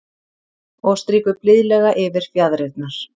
Og strýkur blíðlega yfir fjaðrirnar.